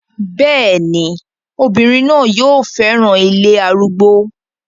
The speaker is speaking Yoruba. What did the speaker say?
bẹ́ẹ̀ni, obìnrin náà yóò fẹ́ràn ilé arúgbó